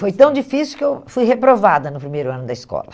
Foi tão difícil que eu fui reprovada no primeiro ano da escola.